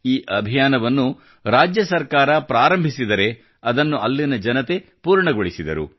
ಈ ಅಭಿಯಾನವನ್ನು ರಾಜ್ಯ ಸರ್ಕಾರ ಪ್ರಾರಂಭಿಸಿದರೆ ಅದನ್ನು ಅಲ್ಲಿನ ಜನತೆ ಪೂರ್ಣಗೊಳಿಸಿದರು